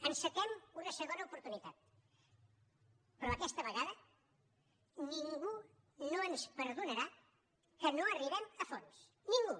encetem una segona oportunitat però aquesta vegada ningú no ens perdonarà que no arribem a fons ningú